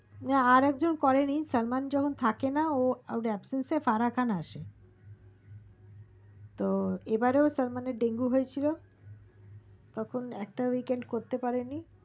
আরেকজন করেনি সালমান যখন থেকে না ওর absent ফারাখান আছে এবারো তো যখন সালমান ডেঙ্গু হয়েছিল তখন weekly করতে পারেনি